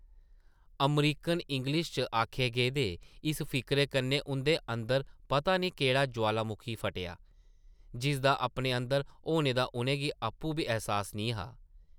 American English च आखे गेदे इस फिकरे कन्नै उंʼदे अंदर पता नेईं केह्ड़ा जुआलामुखी फटेआ, जिसदा अपने अंदर होने दा उʼनें गी आपूं बी ऐहसास निं हा ।